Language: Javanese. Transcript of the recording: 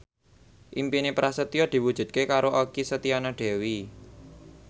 impine Prasetyo diwujudke karo Okky Setiana Dewi